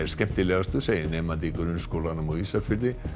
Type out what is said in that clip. er skemmtilegastur segir nemandi í grunnskólanum á Ísafirði